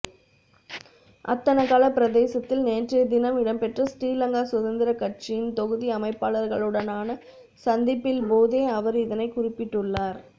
அத்தனகல பிரதேசத்தில் நேற்றைய தினம் இடம்பெற்ற ஸ்ரீலங்கா சுதந்திர கட்சியின் தொகுதி அமைப்பாளர்களுடனான சந்திப்பில் போதே அவர் இதனை குறிப்பிட்டுள்ளார்